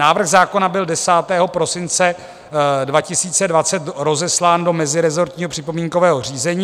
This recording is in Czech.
Návrh zákona byl 10. prosince 2020 rozeslán do mezirezortního připomínkového řízení.